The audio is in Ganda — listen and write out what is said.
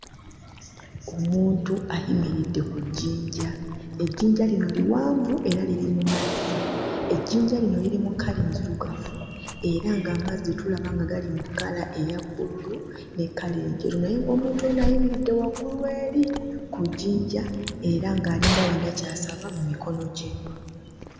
Omuntu ayimiridde ku jjinja. Ejjinja lino liwanvu era liri mu mazzi, ejjinja lino liri mu kkala enzirugavu era ag'amazzi tulaba nga gali mu kkala eya bbululu ne kkala enjeru naye ng'omuntu ono ayimiridde waggulu eri ku jjinja era ng'alinga ayina ky'asaba mu mikono gye.